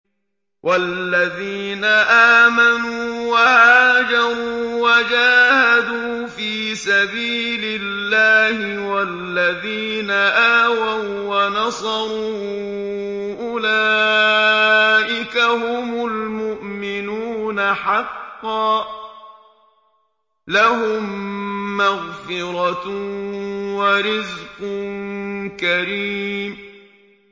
وَالَّذِينَ آمَنُوا وَهَاجَرُوا وَجَاهَدُوا فِي سَبِيلِ اللَّهِ وَالَّذِينَ آوَوا وَّنَصَرُوا أُولَٰئِكَ هُمُ الْمُؤْمِنُونَ حَقًّا ۚ لَّهُم مَّغْفِرَةٌ وَرِزْقٌ كَرِيمٌ